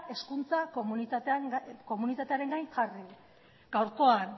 hezkuntza komunitatearen gain jarri gaurkoan